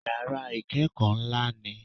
Yàrá ìkẹ́kọ̀ọ́ ńlá ni i